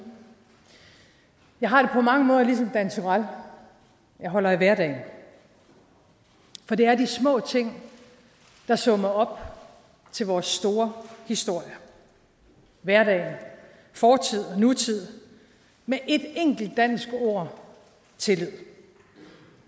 jeg har mange måder ligesom dan turèll jeg holder af hverdagen for det er de små ting der summer op til vores store historie hverdagen fortid og nutid med et enkelt dansk ord tillid